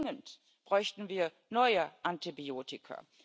Dringend bräuchten wir neue Antibiotika.